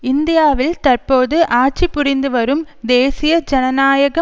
இந்தியாவில் தற்போது ஆட்சி புரிந்துவரும் தேசிய ஜனநாயக